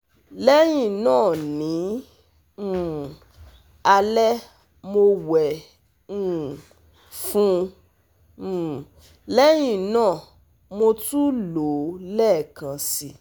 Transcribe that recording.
Lẹ́yìn náà ní um alẹ́ mo wẹ̀ um fún un um lẹ́yìn náà mo tún lò ó lẹ́ẹ̀kan si